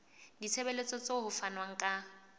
ditshebeletso tseo ho fanweng ka